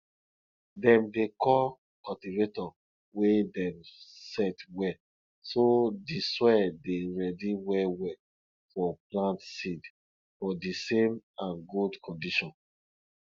dem dey call cultivator wey dem set well so di soil dey ready well well for plant seed for di same and good condition